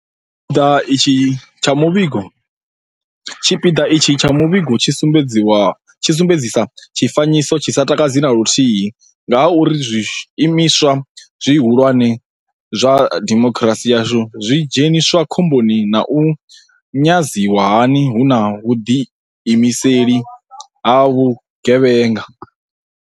Tshipiḓa itshi tsha muvhigo tshi sumbedzisa tshifanyiso tshi sa takadzi na luthihi nga ha uri zwiimiswa zwihu lwane zwa dimokirasi yashu zwo dzheniswa khomboni na u nyadziwa hani hu na vhuḓiimiseli ha vhugevhe nga.